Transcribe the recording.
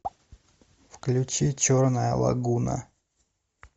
включи черная лагуна